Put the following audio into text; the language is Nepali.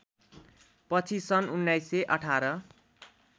पछि सन् १९१८